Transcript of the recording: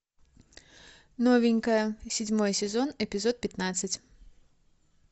новенькая седьмой сезон эпизод пятнадцать